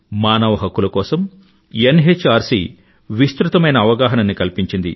మానవ హక్కుల కోసం ఎన్ఎచ్ఆర్సీ విస్తృతమైన అవగాహనని కల్పించింది